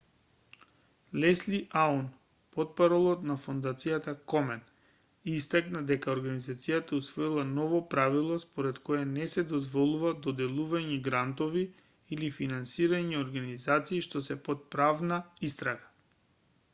лесли аун портпарол на фондацијата комен истакна дека организацијата усвоила ново правило според кое не се дозволува доделување грантови или финансирање организации што се под правна истрага